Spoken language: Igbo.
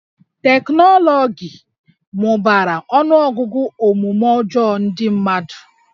Teknọlọgi mụbara ọnụọgụgụ omume ọjọọ ndị mmadụ